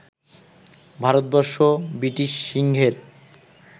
Bharatvarsha British সিংহের